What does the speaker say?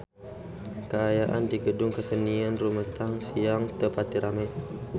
Kaayaan di Gedung Kesenian Rumetang Siang teu pati rame